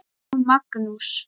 Jón Magnús.